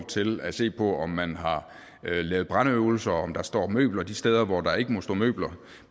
til at se på om man har lavet brandøvelser og om der står møbler de steder hvor der ikke må stå møbler